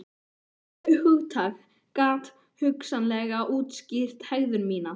Þetta hugtak gat hugsanlega útskýrt hegðun mína.